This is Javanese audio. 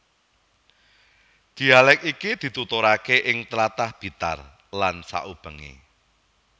Dhialèk iki dituturake ing tlatah Blitar lan saubengé